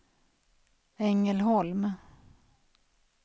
Ängelholm